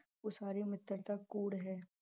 ਉਹ ਸਾਰੀ ਮਿੱਤਰਤਾ ਕੂੜ ਹੈ।